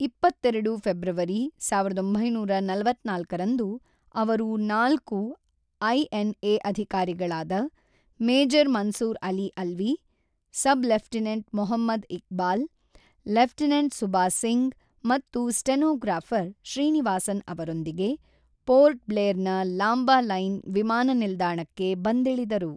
ಇಪ್ಪತ್ತೆರಡು ಫೆಬ್ರವರಿ ಸಾವಿರದ ಒಂಬೈನೂರ ನಲವತ್ತ್ನಾಲ್ಕು ರಂದು ಅವರು ನಾಲ್ಕು ಐಎನ್ಎ ಅಧಿಕಾರಿಗಳಾದ major Mansoor Ali Alvi, sub lieutenant Mohammad Iqbal, lieutenant Suba Singh ಮತ್ತು ಸ್ಟೆನೊಗ್ರಾಫರ್ ಶ್ರೀನಿವಾಸನ್ ಅವರೊಂದಿಗೆ ಪೋರ್ಟ್ ಬ್ಲೇರ್ ನ ಲಾಂಬಲೈನ್ ವಿಮಾನ ನಿಲ್ದಾಣಕ್ಕೆ ಬಂದಿಳಿದರು.